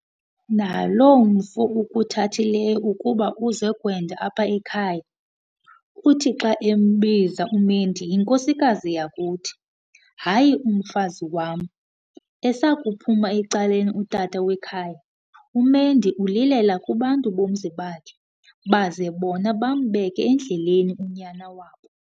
Naloo mfo ukuthathileyo ukuba uze kwenda apha ekhaya, uthi xa embiza umendi 'yinkosikazi yakuthi' hayi umfazi wam. Esakuphum'ecaleni utata wekhaya, uMendi ulilela kubantu bomzi wakhe, baze bona bambeke endleleni unyana wabo.